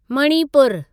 Manipur